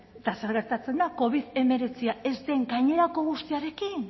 eta zer gertatzen da covid hemeretzi ez den gainerako guztiarekin